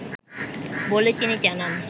বলে তিনি জানান